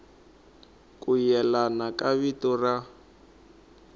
ku yelana ka vito ra